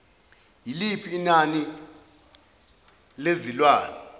yiliphi inani lezilwane